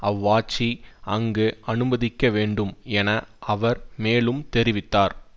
அவ்வாட்சி அங்கு அனுமதிக்க வேண்டும் என அவர் மேலும் தெரிவித்தார்